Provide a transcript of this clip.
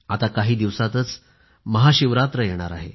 आता काही दिवसांतच महाशिवरात्र येणार आहे